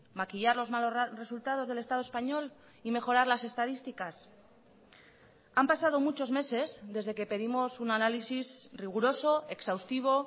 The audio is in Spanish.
maquillar los malos resultados del estado español y mejorar las estadísticas han pasado muchos meses desde que pedimos un análisis riguroso exhaustivo